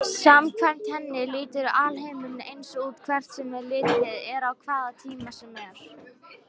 Samkvæmt henni lítur alheimurinn eins út hvert sem litið er á hvaða tíma sem er.